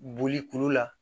Boli kulu la